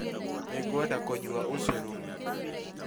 Nĩngwenda kũnyua ucoro